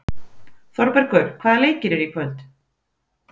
Þorbergur, hvaða leikir eru í kvöld?